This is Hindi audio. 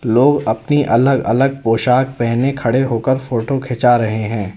लोग अपनी अलग अलग पोशाक पहने खड़े होकर फोटो खींचा रहे हैं।